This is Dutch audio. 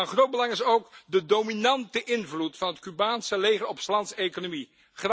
Van groot belang is ook de dominante invloed van het Cubaanse leger op s lands economie.